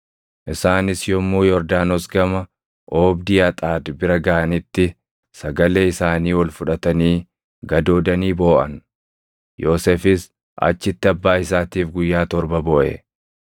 Isaanis yommuu Yordaanos gama oobdii Axaad bira gaʼanitti sagalee isaanii ol fudhatanii gadoodanii booʼan. Yoosefis achitti abbaa isaatiif guyyaa torba booʼe.